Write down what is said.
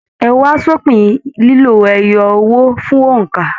Ẹ wa s'opin lilo owó ẹyọ fún óńka!